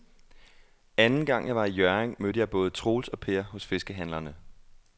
Anden gang jeg var i Hjørring, mødte jeg både Troels og Per hos fiskehandlerne.